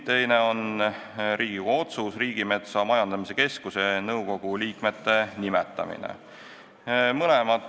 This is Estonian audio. Teine on Riigikogu otsus Riigimetsa Majandamise Keskuse nõukogu liikmete nimetamise kohta.